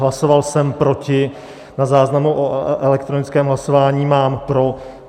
Hlasoval jsem proti, na záznamu o elektronickém hlasování mám pro.